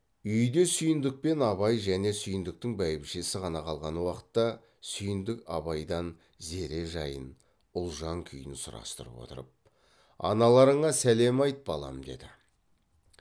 үйде сүйіндік пен абай және сүйіндіктің бәйбішесі ғана қалған уақытта сүйіндік абайдан зере жайын ұлжан күйін сұрастырып отырып аналарыңа сәлем айт балам деді